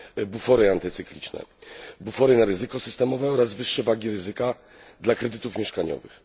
bufory antycykliczne, bufory na ryzyko systemowe oraz wyższe wagi ryzyka dla kredytów mieszkaniowych.